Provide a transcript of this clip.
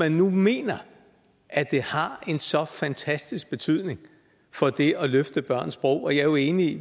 man nu mener at det har så fantastisk en betydning for det at løfte børns sprog og jeg er jo enig i